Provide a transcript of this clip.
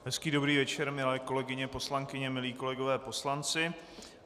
Hezký dobrý večer, milé kolegyně poslankyně, milí kolegové poslanci.